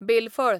बेल फळ